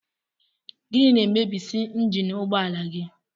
Gịnị na-emebisị njini ụgbọala gị?